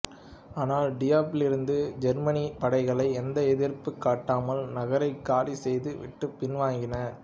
ஆனால் டியப்பிலிருந்த ஜெர்மானியப் படைகள் எந்த எதிர்ப்பும் காட்டாமல் நகரைக் காலி செய்து விட்டு பின்வாங்கின